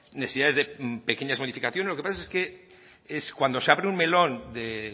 necesidades de pequeñas modificaciones lo que pasa es que cuando se abre el melón de